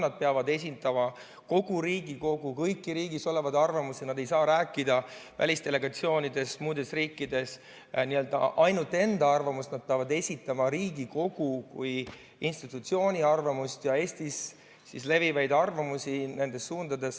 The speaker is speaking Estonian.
Nad peavad esindama kogu Riigikogu arvamust, kõiki riigis olevaid arvamusi, nad ei saa rääkida välisdelegatsioonides või muudes riikides n-ö ainult enda arvamust, vaid nad peavad esitama Riigikogu kui institutsiooni arvamust ja Eestis levivaid arvamusi.